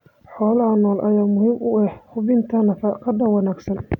Xoolaha nool ayaa muhiim u ah hubinta nafaqada wanaagsan.